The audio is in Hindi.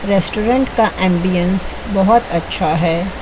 रेस्टोरेंट एंबियंस का बहोत अच्छा है।